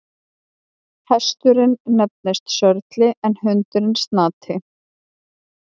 Hesturinn nefnist Sörli en hundurinn Snati.